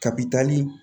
Kabi taali